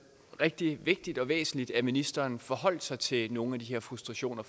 rigtig vigtigt og væsentligt at ministeren forholder sig til nogle af de her frustrationer